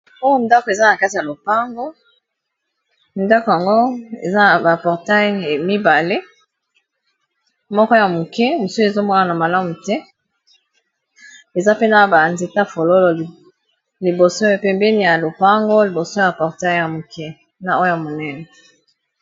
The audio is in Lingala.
Oyo ndako eza na kati ya lopango, ndako yango eza na ba portails mibale, moko ya muke, mosusu ezo monana malamu te . Eza pe na ba nzete ya fololo liboso, pembeni ya lopango, liboso ya portail ya moke na oyo ya monene .